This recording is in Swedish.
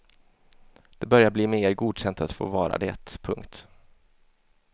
Det börjar bli mer godkänt att få vara det. punkt